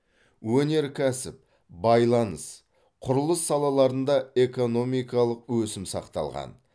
өнеркәсіп байланыс құрылыс салаларында экономикалық өсім сақталған